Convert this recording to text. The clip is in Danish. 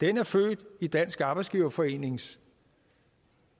er født i dansk arbejdsgiverforenings